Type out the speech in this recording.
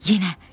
Yenə.